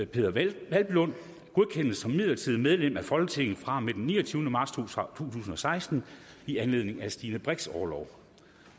peder hvelplund godkendes som midlertidigt medlem af folketinget fra og med den niogtyvende marts to tusind og seksten i anledning af stine brix’ orlov